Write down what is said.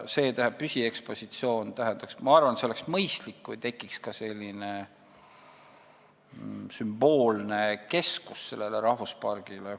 Ma arvan, et see oleks mõistlik, kui tekiks ka selline rahvuspargi sümboolne keskus.